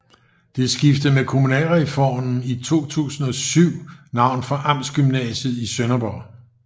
Det skiftede med kommunalreformen i 2007 navn fra Amtsgymnasiet i Sønderborg